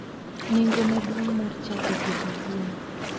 Nengo maduong' mar chako pidho gwen.